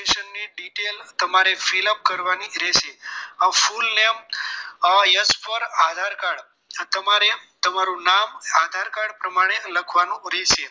ની detail તમારે fill up કરવાની રહેશે full name as for Aadhaar card તમારે તમારું નામ આધારકાર્ડ પ્રમાણે લખવાનું રહેશે